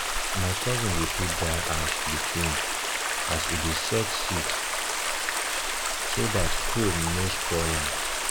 my cousin dey put dry ash between as ash between as e dey set d seeds so dat cold no spoil am